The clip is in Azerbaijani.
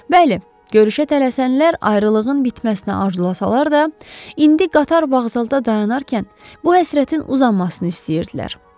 Bəli, görüşə tələsənlər ayrılığın bitməsini arzulasalar da, indi qatar vağzalda dayanarkən bu həsrətin uzanmasını istəyirdilər.